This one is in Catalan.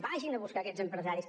vagin a buscar aquests empresaris